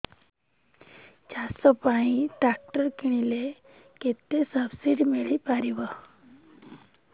ଚାଷ ପାଇଁ ଟ୍ରାକ୍ଟର କିଣିଲେ କେତେ ସବ୍ସିଡି ମିଳିପାରିବ